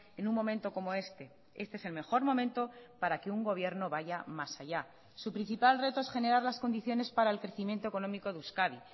en un momento como este este es el mejor momento para que un gobierno vaya más allá su principal reto es generar las condiciones para el crecimiento económico de euskadi